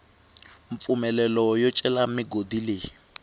mpfumelelo yo cela migodi leyi